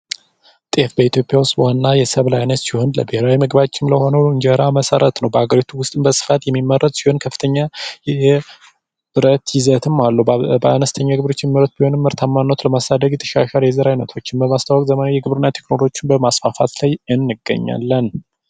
ጤፍ በኢትዮጵያ ውስጥ ዋና የሰብል አይነት ሲሆን ለብሔራዊ ምግባችን ለሆኑ እንጀራ መሠረት ነው። በሃገሪቱ ውስጥ በስፋት የሚመረት ሲሆን ከፍተኛ የብረት ይዘትም አለው። በአነስተኛ ገበረዎች የሚመረት ቢሆንም ምርታማነት ለማሳደግ የተሻሻሉ ቴክኖሎጂ በማስፋፋት ላይ እንገኛለን።